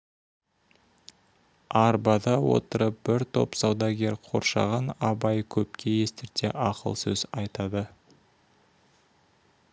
арбада отырып бір топ саудагер қоршаған абай көпке естірте ақыл сөз айтады